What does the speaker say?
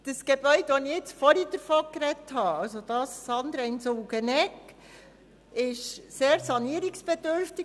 Das Gebäude, von dem ich zuvor gesprochen habe – das Gebäude an der Sulgeneckstrasse –, ist sehr sanierungsbedürftig.